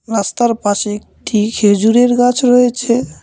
রাস্তার পাশে একটি খেজুরের গাছ রয়েছে।